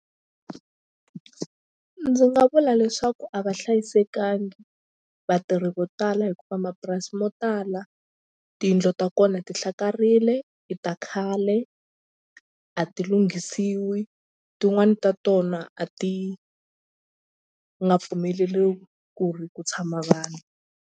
Ndzi nga vula leswaku a va hlayisekangi vatirhi vo tala hikuva mapurasi mo tala tiyindlu ta kona ti hlakarile i ta khale a ti lunghisiwi tin'wani ta tona a ti nga pfumeleriwi ku ri ku tshama vanhu.